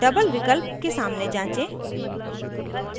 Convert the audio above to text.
double विकल्प के सामने जाँचें